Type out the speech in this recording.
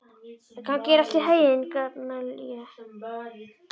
Gangi þér allt í haginn, Gamalíel.